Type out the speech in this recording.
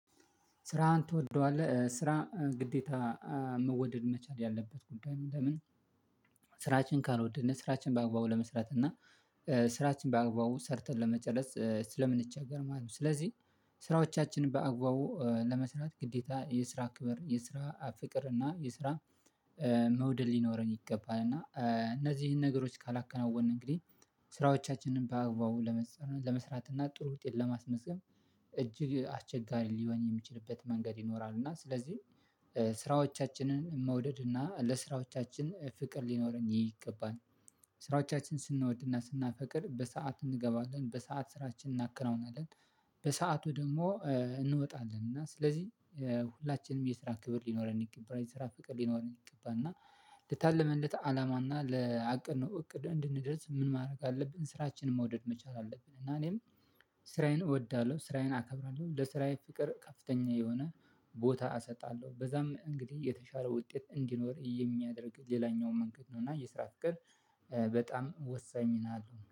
ስራህን ትወደዋለህ ስራ ግዴታ መወደድ መቻል ያለበት ጉዳይ ለምን? ስራችን ካልወደድን ስራችን በአግባቡ ለመስራት እና ስራችን በአግባቡ ሰርተን ለመጨረስ ስለምንቸገር ማለት ነው። ስለዚህ ስራዎቻችንን በአግባቡ ለመስራት ግዴታ የስራ ክብር የስራ ፍቅር አና የስራ መውደድ ሊኖረን የገባል አና አነዚህን ነገሮች ካላከናወንን አንግዲ ስራዎቻችንን በአግባቡ ለመስራት እና ጥሩ ውጤት ለማስመዝገብ እጅግ አስቸጋሪ ሊሆን የሚችልበት መንገድ ይኖራል እና ስለዚህ ስራዎቻችንን መውደድ እና ለስራዎቻችን ፍቅር ሊኖር ይገባል። ስራዎቻችን ስንወድና ስናፈቅር በሰአት እንገባለን በሰአት ስራችን እናከናውናለን። ደግሞ እንወጣለን እና ስለዚህ ሁላችንም የስራ ክብር ሊኖረን ይገባና የስራ ፍቅር ሊኖረን ይገባና። ልታልመለት አላማና ለአቅም ነው እቅም እንድንደርስ ምን ማድረግ አለብን ስራችንን መውደድ መቻል አለብን። እና እኔም ስራዬን እወዳለሁ ስራዬን አከብራለሁ ለስራዬ ፍቅር ከፍተኛ የሆነ ቦታ እሰጣለሁ በዛም እንግዲህ የተሻለ ውጤት እንዲኖር የሚያደርግ ሌላኛው መንገድ ነው። እና የስራ ፍቅር በጣም ወሳኝ ሚና አለው